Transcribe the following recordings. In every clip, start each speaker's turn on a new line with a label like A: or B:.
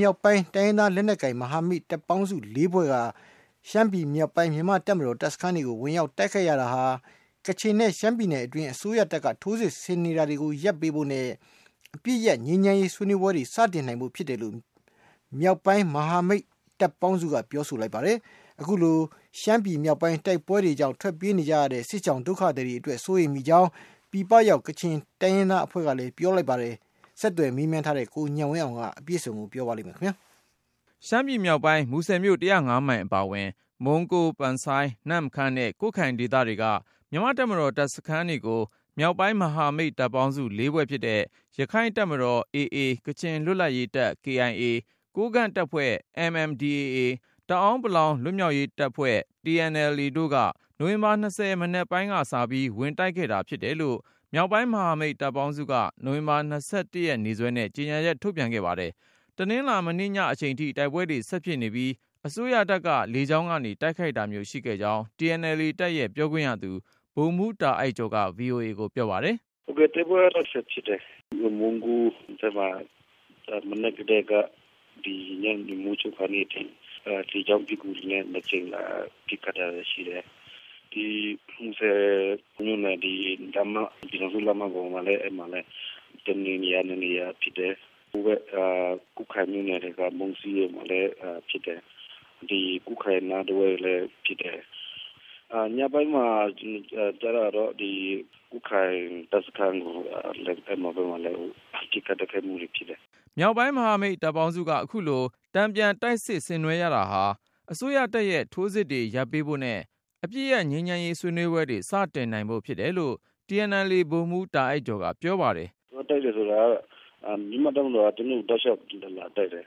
A: မြောက်ပိုင်း တိုင်းရင်းသားလက်နက်ကိုင် မဟာမိတ်တပ်ပေါင်းစု ဖွဲ့က ရှမ်းပြည်မြောက်ပိုင်း မြန်မာ့တပ်မတော် တပ်စခန်းတွေကို ဝင်တိုက်ရတာဟာ ကချင်နဲ့ ရှမ်းပြည်နယ်အတွင်း အစိုးရတပ်က ထိုးစစ်ဆင်နေတာတွေ ရပ်ပေးဖို့နဲ့ အပစ်ရပ်ငြိမ်းချမ်းရေး ဆွေးနွေးပွဲတွေ စတင်နိုင်ဖို့ ဖြစ်တယ်လို့ မြောက်ပိုင်း မဟာ မိတ်တပ်ပေါင်းစုက ပြောပါတယ်။ အခုလို ရှမ်းမြောက်ပိုင်းတိုက်ပွဲတွေကြောင့် ထွက်ပြေးကြရတဲ့ စစ်ရှောင် ဒုက္ခသည်တွေအတွက် စိုးရိမ်မိကြောင်း ပြည်ပရောက် ကချင်တိုင်းရင်းသားအဖွဲ့က ပြောပါတယ်။ ဆက်သွယ်မေးမြန်းထားတဲ့ ကိုဉာဏ်ဝင်းအောင်က တင်ပြပါမယ်။
B: ရှမ်းပြည်မြောက်ပိုင်း မူဆယ်မြို့ မိုင်အပါအဝင် မုံးကိုး၊ ပန်ဆိုင်း၊ နမ့်ခမ်းနဲ့ ကွတ်ခိုင်ဒေသတွေက မြန်မာ့တပ်မတော် တပ်စခန်းတွေကို မြောက်ပိုင်း မဟာမိတ် တပ်ပေါင်းစု ဖွဲ့ဖြစ်တဲ့ ရခိုင့်တပ်မတော် AA၊ ကချင်လွတ်လပ်ရေးတပ် KIA ကိုးကန့် တပ်ဖွဲ့ MNDAA တအာင်းပလောင် လွတ်မြောက်ရေးတပ် TNLA တို့က နိုဝင်ဘာ၂၀ မနက်ပိုင်းကစပြီး ဝင်တိုက်ခဲ့တာဖြစ်တယ်လို့ မြောက်ပိုင်း မဟာမိတ်တပ်ပေါင်းစုက နိုဝင်ဘာ ၂၁ ရက်နေ့စွဲနဲ့ ကြေညာချက်ထုတ်ပြန်ခဲ့ပါတယ်။ တနင်္လာ မနေ့ညအချိန်ထိ တိုက်ပွဲတွေ ဆက်ဖြစ်နေပြီး အစိုးရတပ်က လေကြောင်း ကနေ တိုက်ခိုက်တာမျိုး ရှိခဲ့ကြောင်း TNLA တပ်ရဲ့ပြောခွင့်ရသူ ဗိုလ်မှူး တာအိုက်ကျော်က VOA ကိုပြောပါတယ်။ “
A: တိုက်ပွဲကတော့ ဆက်ဖြစ်နေတယ်။ မုံးကိုဖက်မှာ မနက်ကတည်းက ညနေမိုးချုပ် ခါနီးအထိ လေကြောင်းပစ်ကူတွေနဲ့ နှစ်ကြိမ်လာပစ်ခတ် တာတွေရှိတယ်။ ဒီ မူဆယ်မြို့နဲ့ ပြည်ထောင်စုလမ်းမပေါ်မှာလည်း တစ်နေရာ နှစ်နေရာဖြစ်တယ်။ ကွတ်ခိုင်မြို့နယ်ထဲက မုံးစီးဖက်မှာလည်း ဖြစ်တယ်။ ကွတ်ခိုင်နားတဝိုက်လည်း ဖြစ် တယ်။ ညပိုင်းမှာကျတော့ ကွတ်ခိုင်တပ်စခန်းကို ပစ်ခိုက်တိုက်ခိုက်မှုတွေ ဖြစ်တယ် ”
B: မြောက်ပိုင်း မဟာမိတ်တပ်ပေါင်းစုက အခုလို တန်ပြန်တိုက်စစ် ဆင်နွှဲရတာဟာ အစိုးရတပ်ရဲ့ထိုးစစ်တွေ ရပ်ပေးဖို့နဲ့ အပစ်ရပ်ငြိမ်းချမ်းရေး ဆွေးနွေးပွဲတွေ စတင်နိုင် ဖို့ ဖြစ်တယ်လို့ TNLA ဗိုလ်မှူးတာအိုက်ကျော်က ပြောပါတယ်။
A: “ သွားတိုက်တယ်ဆိုတာက မြန်မာ့တပ်မတော်က ကျနော်တို့ကို တောက်လျှောက် လာတိုက်တယ်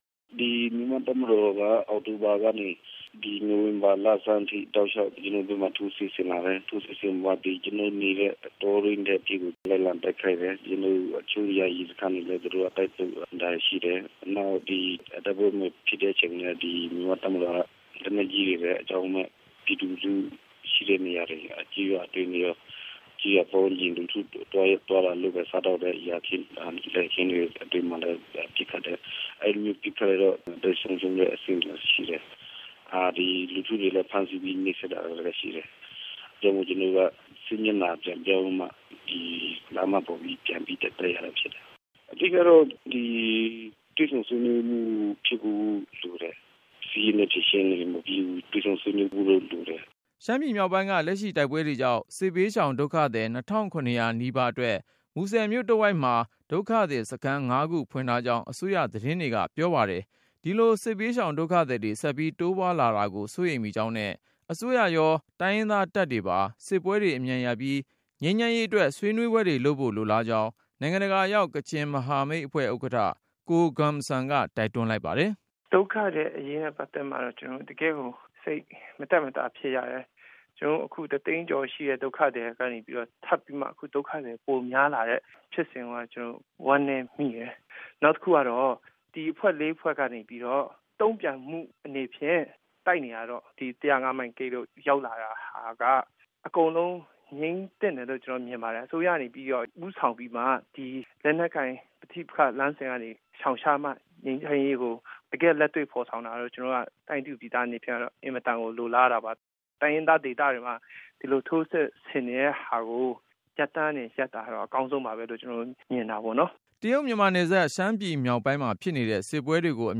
A: ။ မြန်မာ့တပ်မတော်က ဒီအောက်တိုဘာ ကနေ နိုဝင်ဘာလဆန်းထိ ကျနော်တို့ဖက်မှာ ထိုးစစ်ဆင်လာတယ်။ ထိုးစစ်ဆင်ပြီးမှ ကျနော်တို့နေတဲ့ တော တွင်းထဲထိကို လိုက်လံတိုက်ခိုက် တယ်။ ကျနော်တို့ရဲ့ တချို့ယာယီစခန်းတွေ ကိုလည်း သူတို့က တိုက်တာတွေ ရှိတယ်။ နောက် တိုက်ပွဲ မဖြစ်တဲ့အချိန်မျိုး မှာလည်း မြန်မာ့ တပ်မတော်က လက်နက်ကြီးတွေနဲ့ အကြောင်းမဲ့ ပြည်သူလူထု ရှိတဲ့နေရာတွေကို - ကျေးရွာအတွင်းရော ကျေးရွာပတ်ဝန်းကျင် လူထု သွားလာ လုပ်ကိုင်စားသောက်တဲ့ လယ်ခင်း ယာခင်းတွေအတွင်းမှာလည်း ပစ်ခတ်တယ်။ ဒီလိုပစ်ခတ်လို့ အသက်ဆုံးရှုံးတာ ရှိတယ်။ လူထုကိုလည်း ဖမ်းဆီးနှိပ်စက်တာ ရှိတယ်။ ဒါကြောင့်မို့ ကျနော်တို့က စစ်မျက်နှာ ပြန်ပြောင်းပြီးတော့မှ ဒီလမ်းမပေါ် ထိ ပြန်ပြီးမှ တက်တိုက် ရတာဖြစ်တယ်။ အဓိကတော့ တွေ့ဆုံဆွေးနွေးမှု ဖြစ်ဖို့ လိုတယ်။ စစ်ရေးနဲ့ ဖြေရှင်းလို့မပြီးဘူး။ တွေ့ဆုံဆွေးနွေးဖို့တော့ လိုတယ် ”
B: ရှမ်းပြည်မြောက်ပိုင်းက လက်ရှိတိုက်ပွဲတွေကြောင့် စစ်ဘေးရှောင်ဒုက္ခသည် ၂၇၀၀ နီးပါးအတွက် မူဆယ်မြို့တဝိုက်မှာ ဒုက္ခသည်စခန်း ၅ ခု ဖွင့်ထားပြီး ရှမ်းပြည်နယ် အစိုးရက အရေးပေါ်အကူအညီတချို့ပေးနေကြောင်း အစိုးရသတင်းတွေက ရေး ပါတယ်။ ဒီလိုစစ်ဘေးရှောင် ဒုက္ခ သည်တွေ ဆက်ပြီးတိုးပွားလာတာကို စိုးရိမ် မိကြောင်းနဲ့ အစိုးရရော တိုင်းရင်သားတပ်တွေပါ စစ်ပွဲတွေအမြန်ရပ်ပြီး ငြိမ်းချမ်းရေး အတွက် ဆွေးနွေးဖို့ လိုလားကြောင်း နိုင်ငံတကာရောက် ကချင်မဟာမိတ်အဖွဲ့ ဥက္ကဌ ကိုဂွမ်ဆမ်က တိုက်တွန်းလိုက်ပါတယ်။
C: “ ဒုက္ခသည်အရေးနဲ့ ပတ်သက်ပြီး ကျနော်တို့ တကယ့်ကို စိတ်မသက်မသာ ဖြစ်ရ တယ်။ တသိန်းကျော်ရှိတဲ့ ဒုက္ခသည်တွေကနေပြီးတော့ အခုထပ်ပြီးမှ ဒုက္ခသည် ပိုများလာတဲ့ ဖြစ်စဉ်ကိုတော့ ကျနော်တို့ဝမ်းနည်းမိတယ်။ နောက်တခုက ဒီအဖွဲ့ ၄ဖွဲ့ကနေပြီးတော့ တုန့်ပြန်တဲ့အနေနဲ့ တိုက်နေတာက ၁၀၅ မိုင်ဂိတ်တို့ထိ ရောက် လာတာက အကုန်လုံး ငြိမ်းသင့်တယ်လို့ ကျနော်မြင်ပါတယ်။ အစိုးရကနေပြီး ဦးဆောင်ပြီးမှ ဒီလက်နက်ကိုင် ပဋိပက္ခလမ်းစဉ် ကနေရှောင်ရှားမှ ငြိမ်းချမ်းရေးကို တကယ့်လက်တွေ့ ဖေါ်ဆောင်နိုင်မှာ ကျနော်တို့ ပြည်သူအနေနဲ့ အင်မတန်ကို လိုလားတာပါ။ တိုင်းရင်းသားဒေသမှာ ဒီလိုထိုးစစ် ဆင်နေတဲ့ဟာကို ရပ်တန်းကနေ ရပ်တာကတော့ အကောင်းဆုံးပါပဲလို့ ကျနော်တို့ မြင်ပါတယ
B: ် ” တရုတ်မြန်မာနယ်စပ် ရှမ်းပြည်မြောက်ပိုင်းမှာဖြစ်နေတဲ့ စစ်ပွဲတွေကို အ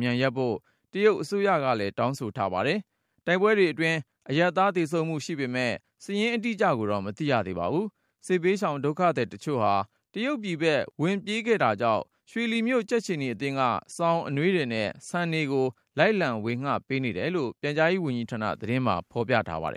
B: မြန်ရပ်ဖို့ တရုတ်အစိုးရလဲ တောင်းဆိုထားပါတယ်။ တိုက်ပွဲတွေ အတွင်းအရပ်သားသေဆုံးမှု ရှိပေမယ့် စာရင်းအတိအကျကို မသိရသေးပါဘူး။ စစ်ဘေးရှောင် ဒုက္ခသည်တချို့ ဟာ တရုတ်ပြည်ဖက် ဝင်ပြေး ခဲ့ကြတာကြောင့် ရွှေလီမြို့ကြက်ခြေနီအသင်းက ေ စာင်၊ အနွေးထည်နဲ့ ဆန်တွေကို လိုက်လံ ဝေငှပေးနေတယ်လို့ ပြန်ကြားရေး ဝန်ကြီးဌာန သတင်းမှာဖေါ်ပြပါတယ်